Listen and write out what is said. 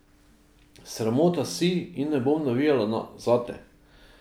Sramota si in ne bom navijala zate!